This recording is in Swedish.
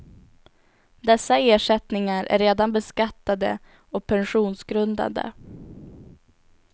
Dessa ersättningar är redan beskattade och pensionsgrundande.